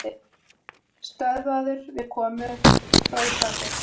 Stöðvaður við komu frá Íslandi